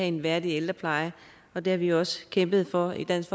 en værdig ældrepleje og det har vi også kæmpet for i dansk